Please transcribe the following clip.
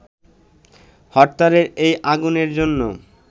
হরতালের এই আগুনের জন্য